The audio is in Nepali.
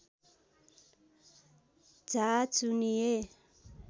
झा चुनिए